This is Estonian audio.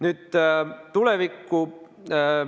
Nüüd tulevikust.